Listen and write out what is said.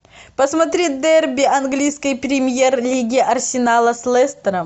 посмотри дерби английской премьер лиги арсенала с лестером